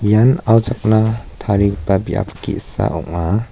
ian auchakna tarigipa biap ge·sa ong·a.